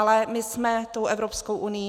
Ale my jsme tou Evropskou unií.